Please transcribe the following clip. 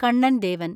Kannan Devan